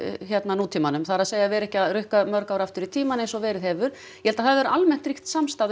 nútímanum það er að vera ekki að rukka þau mörg ár aftur í tímann eins og verið hefur ég held að almenn samstaða